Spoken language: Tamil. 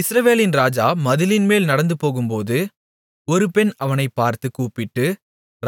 இஸ்ரவேலின் ராஜா மதிலின்மேல் நடந்துபோகும்போது ஒரு பெண் அவனைப்பார்த்துக் கூப்பிட்டு